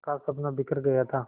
का सपना बिखर गया था